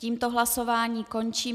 Tím hlasování končím.